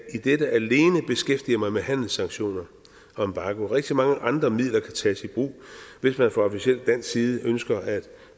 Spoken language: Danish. i dette alene beskæftiger mig med handelssanktioner og embargo rigtig mange andre midler kan tages i brug hvis man fra officiel dansk side ønsker at